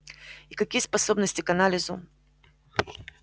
и какие способности к анализу